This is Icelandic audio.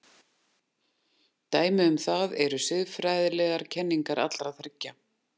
Dæmi um það eru siðfræðilegar kenningar allra þriggja.